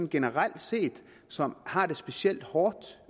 generelt set som har det specielt hårdt